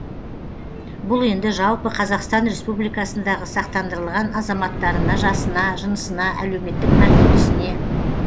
бұл енді жалпы қазақстан республикасындағы сақтандырылған азаматтарына жасына жынысына әлеуметтік мәртебесіне